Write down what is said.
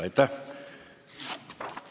Aitäh!